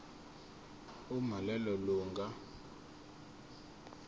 uma lelo lunga